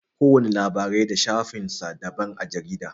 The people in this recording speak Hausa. Kowana labarai da shafin sa daban a jarida.